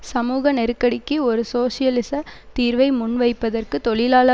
சமூக நெருக்கடிக்கு ஒரு சோசியலிச தீர்வை முன்வைப்பதற்கு தொழிலாள